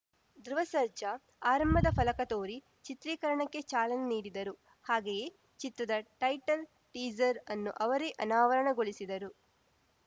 ಧ್ರುವ ಸರ್ಜಾ ಆರಂಭದ ಫಲಕ ತೋರಿ ಚಿತ್ರೀಕರಣಕ್ಕೆ ಚಾಲನೆ ನೀಡಿದರು ಹಾಗೆಯೇ ಚಿತ್ರದ ಟೈಟಲ್‌ ಟೀಸರ್‌ ಅನ್ನು ಅವರೇ ಅನಾವರಣಗೊಳಿಸಿದರು